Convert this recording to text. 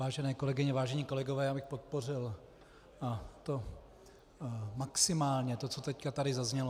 Vážené kolegyně, vážení kolegové, já bych podpořil, a to maximálně, to, co tady teď zaznělo.